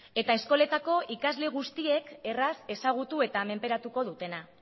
eta eskoletako ikasle guztiek erraz ezagutu eta menperatuko dutena